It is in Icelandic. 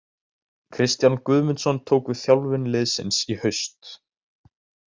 Kristján Guðmundsson tók við þjálfun liðsins í haust.